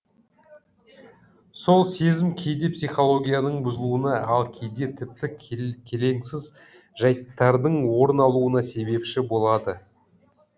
сол сезім кейде психологияның бұзылуына ал кейде тіпті келеңсіз жайттардың орын алуына себепші болады